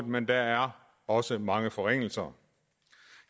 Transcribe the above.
men der er også mange forringelser